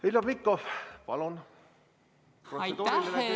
Heljo Pikhof, palun, kui on protseduuriline küsimus!